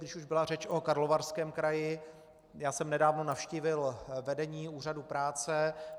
Když už byla řeč o Karlovarském kraji, já jsem nedávno navštívil vedení úřadu práce.